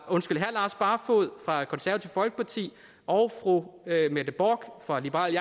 barfoed fra konservative folkeparti og fru mette bock fra liberal